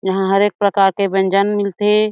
यहाँ हर एक प्रकार के व्यंजन मिलते थे।